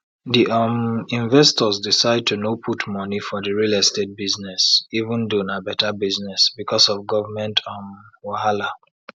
di um investors decide to no put money for the real estate buisness even though na better business because of government um wahala